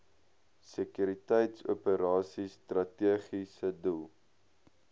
sekuriteitsoperasies strategiese doel